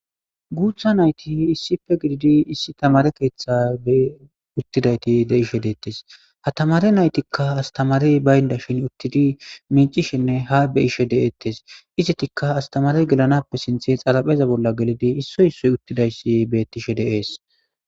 guutha nayti issippe gididi issi tamare keeththa be uttidayti de'ishe deettes ha tamare naytikka astamarey bayndashin uttidi micishenne ha be'ishe deettes izitikka astamarey gelanappe sinthe xarapheza bolla gelidi issoy issoy uttidayssi bettishe de'es